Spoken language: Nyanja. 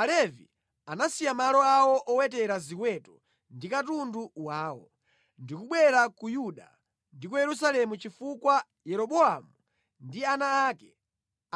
Alevi anasiya malo awo owetera ziweto ndi katundu wawo, ndi kubwera ku Yuda ndi ku Yerusalemu chifukwa Yeroboamu ndi ana ake